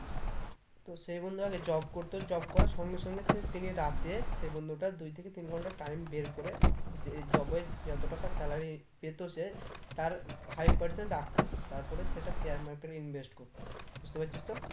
তো সে বন্ধু আগে job করতো job করার সঙ্গে সঙ্গে সে daily রাতে সেই বন্ধুটা দুই থেকে তিন ঘন্টা time বের করে যে এই job এ যত টাকা salary পেতো সে তার five percent রাখতো তার পরে সেটা share market এ invest করতো বুঝতে পারছিস তো?